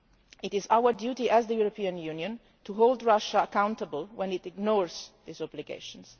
It is our duty, as the European Union, to hold Russia accountable when it ignores those obligations.